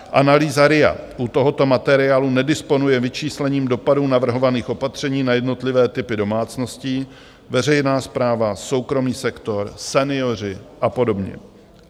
Analýza RIA u tohoto materiálu nedisponuje vyčíslením dopadů navrhovaných opatření na jednotlivé typy domácností, veřejná správa, soukromý sektor, senioři a podobně.